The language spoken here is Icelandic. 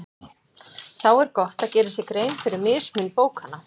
Þá er gott að gera sér grein fyrir mismun bókanna.